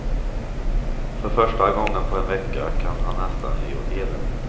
För första gången på en vecka kan han nästan le åt eländet.